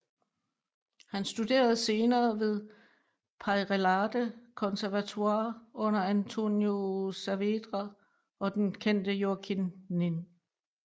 Han studerede senere ved Peyrellade Conservatoire under Antonio Saavedra og den kendte Joaquin Nin